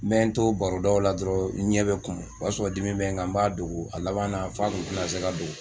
N mɛ n to barodaw la dɔrɔn n ɲɛ bɛ kumu o y'a sɔrɔ dimi bɛ n kan n b'a dogo a laban na f'a kun tɛna se ka